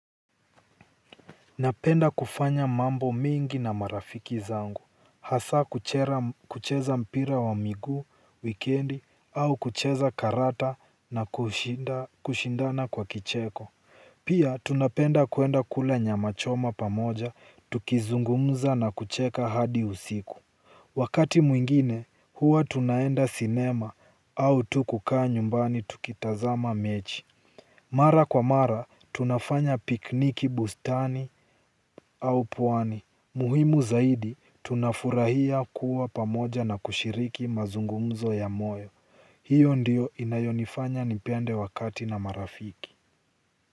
Napenda kufanya mambo mingi na marafiki zangu hasa kucheza mpira wa miguu, wikendi au kucheza karata na kushindana kwa kicheko. Pia tunapenda kuenda kula nyama choma pamoja tukizungumza na kucheka hadi usiku. Wakati mwingine huwa tunaenda cinema au tu kukaa nyumbani tukitazama mechi. Mara kwa mara, tunafanya pikniki bustani au pwani. Muhimu zaidi, tunafurahia kuwa pamoja na kushiriki mazungumzo ya moyo. Hiyo ndio inayonifanya nipende wakati na marafiki.